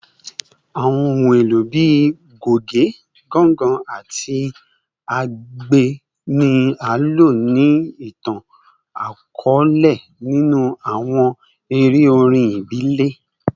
Awọn ohun elo bii goge, ganga, ati agbe ni a lo ni itan-akọọlẹ ninu awọn ere orin ibile